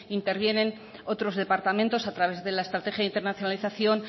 intervienen otros departamentos a través de la estrategia de internacionalización